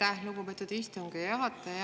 Aitäh, lugupeetud istungi juhataja!